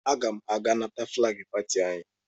Aga m aga nata flaagị pati anyị.